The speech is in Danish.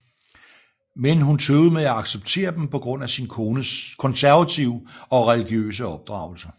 Men hun tøvede med at acceptere dem på grund af sin konservative og religiøse opdragelse